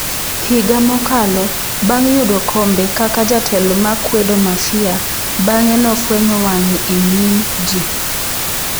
Higa mokalo, bang’ yudo kombe kaka jatelo ma kwedo mafia, bang’e, nofwenyo wang’e e nyim ji.